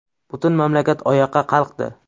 Butun mamlakat oyoqqa qalqdi.